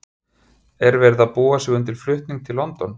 Er verið að búa sig undir flutning til London?